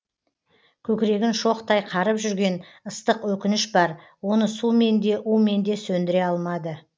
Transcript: көкірегін шоқтай қарып жүрген ыстық өкініш бар оны сумен де умен де сөндіре алмады